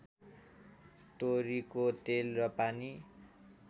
तोरीको तेल र पानी